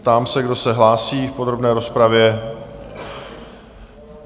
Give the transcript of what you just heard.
Ptám se, kdo se hlásí v podrobné rozpravě?